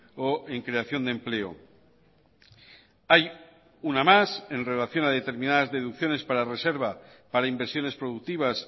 o en creación de empleo hay una más en relación a determinadas deducciones para reserva para inversiones productivas